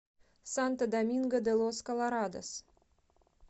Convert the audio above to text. санто доминго де лос колорадос